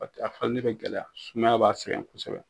a falilen bɛ gɛlɛya, sumaya b'a sɛgɛn kosɛbɛ